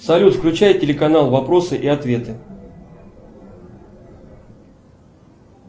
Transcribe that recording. салют включай телеканал вопросы и ответы